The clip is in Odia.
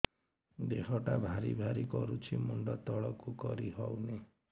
ଦେହଟା ଭାରି ଭାରି କରୁଛି ମୁଣ୍ଡ ତଳକୁ କରି ହେଉନି